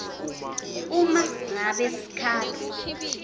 uma ngabe sikhalo